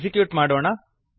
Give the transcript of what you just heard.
execute ಮಾಡೋಣ